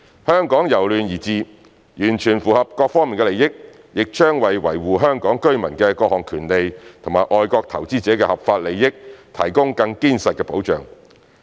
香港由亂而治，完全符合各方利益，也將為維護香港居民的各項權利和外國投資者的合法利益提供更堅實的保障。